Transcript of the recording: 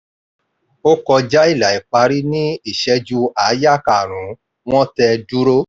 ó kọjá ilà ìparí ní ìṣẹ́jú àáyá karùn-ún wọ́n tẹ “dúró”.